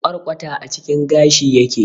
Kwarkwata a cikin gashi yake.